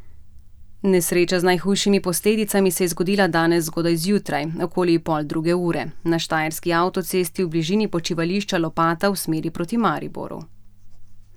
Nesreča z najhujšimi posledicami se je zgodila danes zgodaj zjutraj, okoli pol druge ure, na štajerski avtocesti v bližini počivališča Lopata v smeri proti Mariboru.